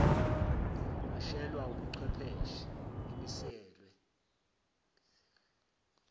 eshayelwa wubuchwepheshe imiselwe